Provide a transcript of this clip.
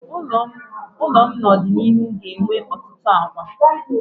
Ụlọ m n'ọdịnihu ga-enwe ọtụtụ akwa.